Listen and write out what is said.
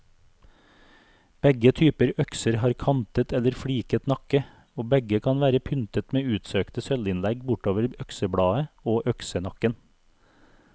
Begge typer økser har kantet eller fliket nakke, og begge kan være pyntet med utsøkte sølvinnlegg bortover øksebladet og øksenakken.